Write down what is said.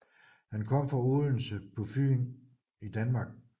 Han kom fra Odense på Fyn i Danmark